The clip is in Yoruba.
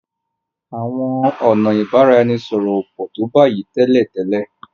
Àwọn ọnà ibaraẹnisọrọ o pọ to bayi télètélè.